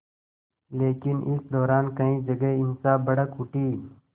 लेकिन इस दौरान कई जगह हिंसा भड़क उठी